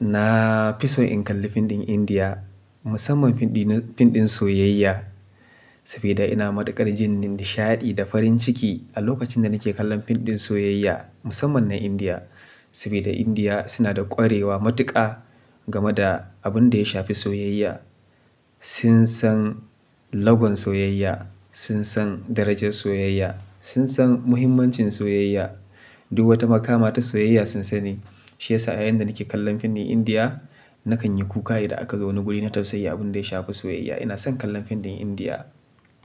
na fi so in kalli fim ɗin Indiya musamman fim ɗin soyayya. Saboda ina matuƙar jinin nishaɗi da farin ciki a lokacin da nake kallon fim ɗin soyayya musamman na Indiya. Saboda Indiya suna da ƙwarewa matuƙa game da abin da ya shafi soyayya. Sun san lagon soyayya, sun san darajar soyayya, sun san muhimmancin soyayya, duk wata makama ta soyayya sun sani. Shi yasa yayin da nake kallon fim ɗin Indiya nakan yi kuka idan aka zo wani guri na tausayi abin da ya shafi soyayya. Ina son kallon fim ɗin Indiya.